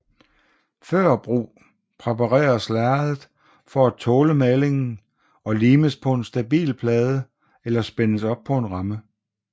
Før brug præpareres lærredet for at tåle malingen og limes på en stabil plade eller spændes op på en ramme